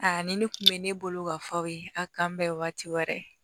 Aa ni ne kun bɛ ne bolo ka fɔ aw ye a kan bɛ waati wɛrɛ